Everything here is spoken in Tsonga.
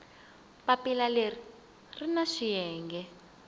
papila leri ri na swiyenge